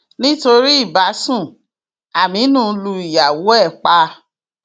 nítorí ìbásun aminu lu ìyàwó ẹ pa